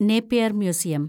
Napier‍ museum